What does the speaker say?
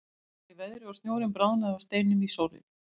Heitt var í veðri og snjórinn bráðnaði af steinum í sólinni.